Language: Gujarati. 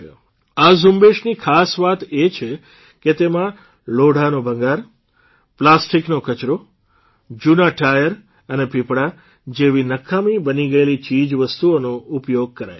આ ઝુંબેશની ખાસ વાત એ છે કે તેમાં લોઢાનો ભંગાર પ્લાસ્ટીકનો કચરો જૂનાં ટાયર અને પીપડા જેવી નકામી બની ગયેલી ચીજવસ્તુઓનો ઉપયોગ કરાય છે